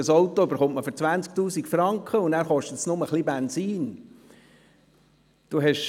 Ein Auto bekommt man für 20 000 Franken, und dann kostet es nur noch ein bisschen Benzin.